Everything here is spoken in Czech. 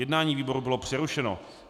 Jednání výboru bylo přerušeno.